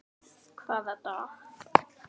Hvaða dag?